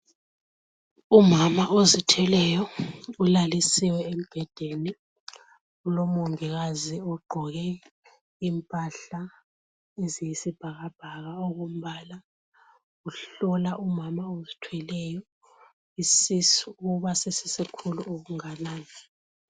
Umama ozithweleyo ulalisiwe embhedeni. Kulomongikazi ogqoke impahla eziyisibhakabhaka okombala, uhlola umama ozithweleyo isisu ukuba sesisikhulu okunganani.